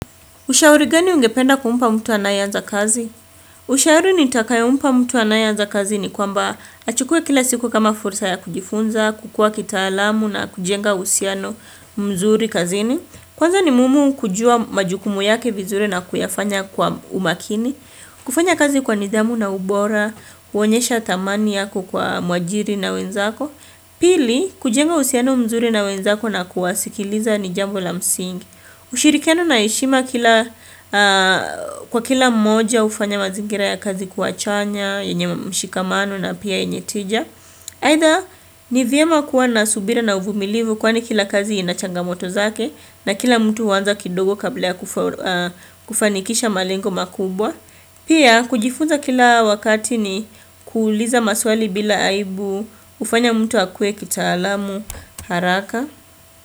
Ushauri gani ungependa kumpa mtu anayeanza kazi? Ushauri nitakayo mpa mtu anayeanza kazi ni kwamba achukue kila siku kama fursa ya kujifunza, kukua kitaalamu na kujenga usiano mzuri kazini. Kwanza ni mumu kujua majukumu yake vizuri na kuyafanya kwa umakini. Kufanya kazi kwa nidhamu na ubora, uonyesha thamani yako kwa mwajiri na wenzako. Pili, kujenga usiano mzuri na wenzako na kuwasikiliza ni jambo la msingi. Ushirikiano na heshima kwa kila mmoja ufanya mazingira ya kazi kuwa chanya, yenye mshikamano na pia yenye tija. Aidha ni vyema kuwa na subira na uvumilivu kwani kila kazi inachangamoto zake na kila mtu huanza kidogo kabla ya kufanikisha malengo makubwa. Pia kujifunza kila wakati ni kuuliza maswali bila aibu ufanya mtu akwe kitaalamu haraka.